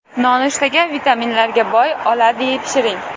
Nonushtaga vitaminlarga boy oladyi pishiring.